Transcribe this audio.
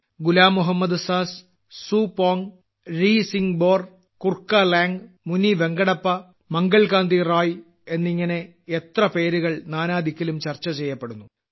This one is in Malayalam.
ഗുലാം മുഹമ്മദ് സാസ് സുപോങ് രിസിംഗ്ബോർ കുർക്കലാംഗ് മുനിവെങ്കടപ്പ മംഗൾ കാന്തി റായ് എന്നിങ്ങനെ എത്ര പേരുകൾ നാനാ ദിക്കിലും ചർച്ച ചെയ്യപ്പെടുന്നു